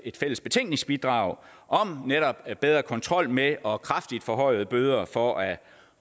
fælles betænkningsbidrag om netop bedre kontrol med og kraftigt forhøjede bøder for at